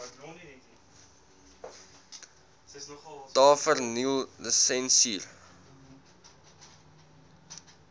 tavernelisensier